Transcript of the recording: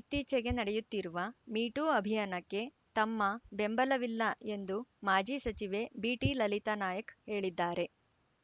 ಇತ್ತೀಚೆಗೆ ನಡೆಯುತ್ತಿರುವ ಮೀಟೂ ಅಭಿಯಾನಕ್ಕೆ ತಮ್ಮ ಬೆಂಬಲವಿಲ್ಲ ಎಂದು ಮಾಜಿ ಸಚಿವೆ ಬಿಟಿಲಲಿತಾ ನಾಯಕ ಹೇಳಿದ್ದಾರೆ